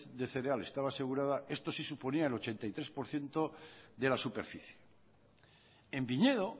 de cereales estaba asegurada esto suponía el ochenta y tres por ciento de la superficie en viñedo